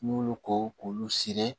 N'u y'olu ko k'u siri